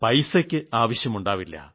പൈസയ്ക്ക് ആവശ്യമുണ്ടാവില്ല